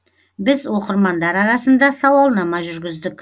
біз оқырмандар арасында сауалнама жүргіздік